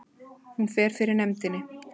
Hún fer fyrir nefndinni